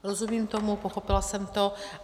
Rozumím tomu, pochopila jsem to.